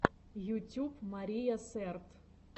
ютюб мария сэрт